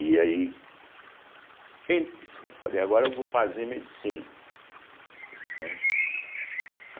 E aí, em falei, agora eu vou fazer medicina, né.